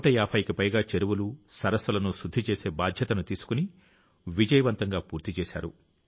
150కి పైగా చెరువులు సరస్సులను శుద్ధి చేసే బాధ్యతను తీసుకుని విజయవంతంగా పూర్తి చేశారు